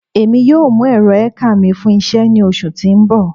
Emi yoo mu ẹrọ elcar mi fun iṣẹ ni oṣu ti n bọ